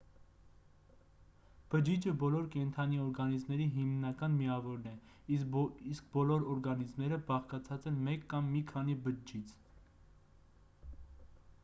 բջիջը բոլոր կենդանի օրգանիզմների հիմնական միավորն է իսկ բոլոր օրգանիզմները բաղկացած են մեկ կամ մի քանի բջջից